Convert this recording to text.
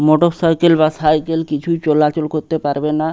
Motorcycle বা cycle কিছুই চলাচল করতে পারবেনা।